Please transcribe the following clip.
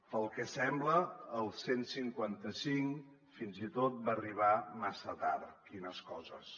pel que sembla el cent i cinquanta cinc fins i tot va arribar massa tard quines coses